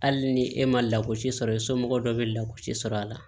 Hali ni e ma lagosi sɔrɔ i somɔgɔ dɔw bɛ lagosi sɔrɔ a la